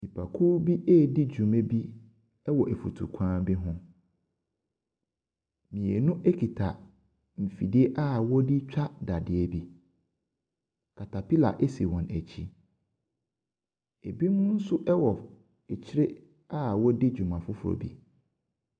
Nipakuo bi redi dwuma bi ɛwɔ nfutukwan bi ho. Mmienu ekuta nfidie a ɔdetwa dadeɛ bi. Caterpillar esi wɔn ɛkyi. ebinom nso ɛwɔ akyire a wɔɔdi dwuma foforɔ bi.